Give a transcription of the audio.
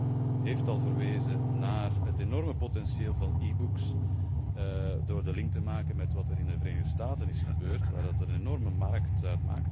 De auteur heeft al verwezen naar het enorme potentieel van e books, door de link te maken met wat er in de Verenigde Staten is gebeurd, waar dat een enorme markt is.